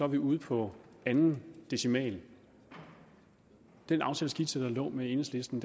vi ude på anden decimal den aftaleskitse med enhedslisten